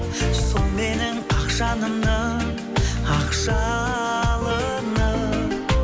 сол менің ақ жанымның ақ жалыны